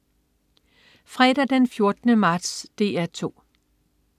Fredag den 14. marts - DR 2: